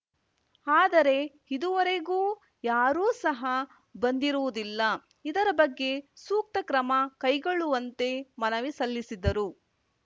ಆದರೆ ಇದುವರೆಗೂ ಯಾರೂ ಸಹಾ ಬಂದಿರುವುದಿಲ್ಲ ಇದರ ಬಗ್ಗೆ ಸೂಕ್ತ ಕ್ರಮ ಕೈಗೊಳ್ಳುವಂತೆ ಮನವಿ ಸಲ್ಲಿಸಿದರು